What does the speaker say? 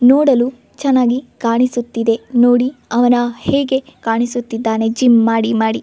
ನೋಡಲು ಚನ್ನಾಗಿ ಕಾಣಿಸುತ್ತಿದೆ ನೋಡಿ ಅವನ ಹೇಗೆ ಕಾಣಿಸುತ್ತಿದ್ದಾನೆ ಜಿಮ್ ಮಾಡಿಮಾಡಿ.